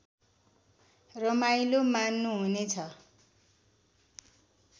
रमाईलो मान्नुहुने छ